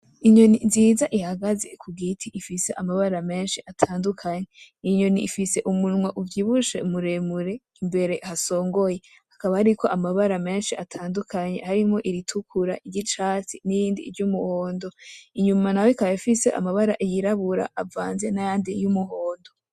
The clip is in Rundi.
Inyoni nziza ihagaze kugiti ifise amabara menshi atandukanye; inyoni ifise umunwa uvyibushe muremure imbere hasongoye ;hakaba hariko amabara menshi atandukanye harimwo iritukura, iryicatsi ,n'irindi ry'umuhondo ,inyuma naho ikaba ifise amabara yirabura avanze n’ayandi y'umuhondo.